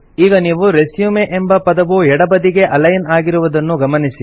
ಈಗ ನೀವು ರೆಸ್ಯೂಮ್ ಎಂಬ ಪದವು ಎಡಬದಿಗೆ ಅಲೈನ್ ಆಗಿರುವುದನ್ನು ಗಮನಿಸಿ